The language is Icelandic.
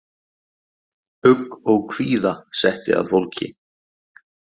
Ugg og kvíða setti að fólki.